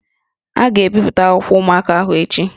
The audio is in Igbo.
A ga-ebipụta akwụkwọ ụmụaka ahụ echi